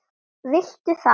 Viltu það?